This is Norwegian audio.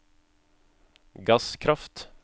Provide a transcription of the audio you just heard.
gasskraft